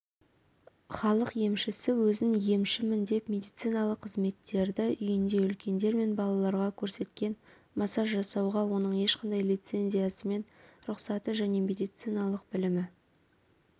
халық емшісі өзін емшімін деп медициналық қызметтерді үйінде үлкендер мен балаларға көрсеткен массаж жасауға оның ешқандай лицензиясымен рұқсаты және медициналық білімі